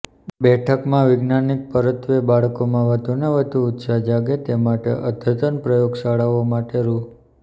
બેઠકમાં વિજ્ઞાાન પરત્વે બાળકોમાં વધુને વધુ ઉત્સાહ જાગે તે માટે અદ્યતન પ્રયોગશાળાઓ માટે રૃ